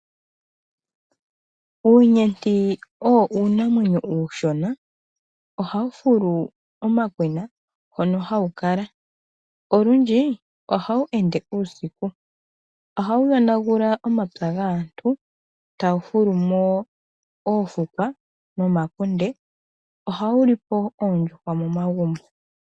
Uunyenti owo uunamwenyo ushona. Oha wu fulu omakwena hono hawu kala. Olundji oha wu ende uusiku. Oha wu yonagula omapya gaantu tawu fulu mo oofukwa nomakunde. Oha wu lipo oondjuhwa momagumbo.